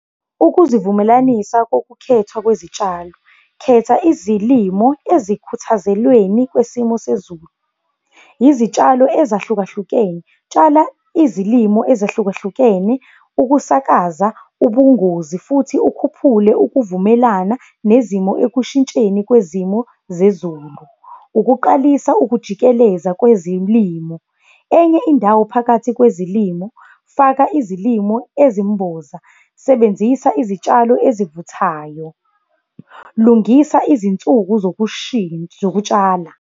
Ukuzivumelanisa kokukhethwa kwezitshalo, khetha izilimo ezikhuthazelweni kwesimo sezulu. Izitshalo ezahlukahlukene, tshala izilimo ezahlukahlukene ukusakaza ubungozi futhi ukhuphule ukuvumelana nezimo ekushintsheni kwezimo zezulu. Ukuqalisa ukujikeleza kwezilimo, enye indawo phakathi kwezilimo, faka izilimo ezimboza, sebenzisa izitshalo ezivuthayo. Lungisa izinsuku zokutshala.